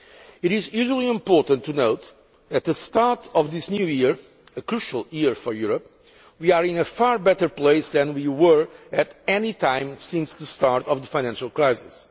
It is hugely important to note that, at the start of this New Year a crucial year for Europe we are in a far better place than we were at any time since the start of the financial crisis.